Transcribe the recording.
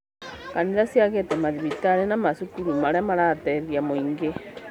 Kanitha ciakĩte mathibitarĩ na macukuru marĩa marateithia mũingĩ